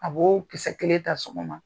A b'o kisɛ kelen ta sɔgɔma